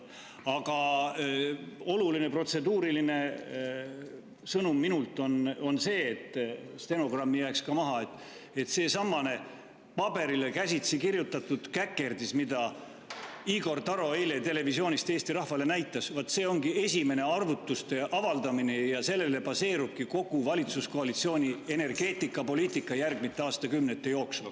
Aga oluline protseduuriline sõnum minult on see – et stenogrammi jääks ka maha –, et seesamane paberile käsitsi kirjutatud käkerdis, mida Igor Taro eile televisioonis Eesti rahvale näitas, vaat see ongi esimene arvutuste avaldamine ja sellel baseerubki kogu valitsuskoalitsiooni energeetikapoliitika järgmiste aastakümnete jooksul.